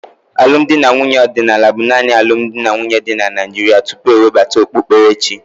Alụmdi na nwunye ọdịnala bụ naanị ụdị alụmdi na nwunye dị na Naịjirịa tupu e webata okpukperechi.